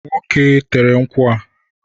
Nwoke tere nkwụ a